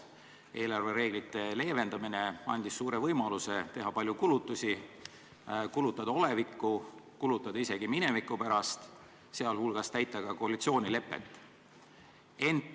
Eelarvereeglite leevendamine andis suure võimaluse teha palju kulutusi, kulutada oleviku ja isegi mineviku pärast, sh täita koalitsioonilepet.